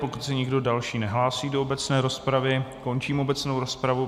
Pokud se nikdo další nehlásí do obecné rozpravy, končím obecnou rozpravu.